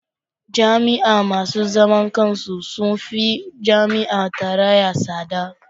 Jami'a masu zaman kansu sun fi jami'ar tarayya tsada.